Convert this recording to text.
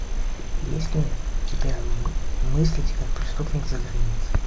есть ли у тебя мыслить как преступник за границей